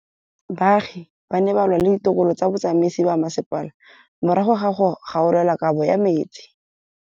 Baagi ba ne ba lwa le ditokolo tsa botsamaisi ba mmasepala morago ga go gaolelwa kabo metsi.